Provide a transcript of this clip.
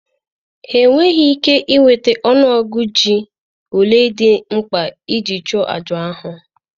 Ha enweghị ike nweta ọnụ ọgụgụ ji ole dị mkpa iji chụọ àjà ahụ